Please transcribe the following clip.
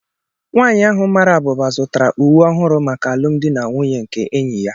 Nwanyị ahụ mara abụba zụtara uwe ọhụrụ maka alụmdi na nwunye nke enyi ya.